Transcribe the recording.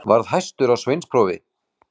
Varð hæstur á sveinsprófi.